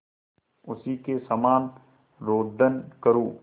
उसी के समान रोदन करूँ